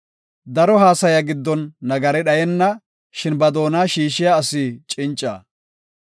Daro haasaya giddon nagari dhayenna; shin ba doona shiishiya asi cinca.